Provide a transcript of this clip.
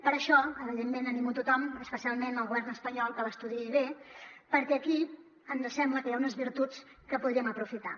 per això evidentment animo a tothom especialment al govern espanyol que l’estudiï bé perquè aquí ens sembla que hi ha unes virtuts que podríem aprofitar